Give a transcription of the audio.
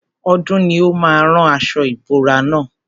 Ọdún ni ó má a rán aṣo ìbora na.